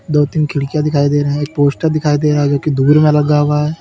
दो तीन खिड़कियां दिखाई दे रहा है एक पोस्टर दिखाई दे रहा है जो की दूर में लगा हुआ है।